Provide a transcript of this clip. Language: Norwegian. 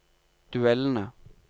duellene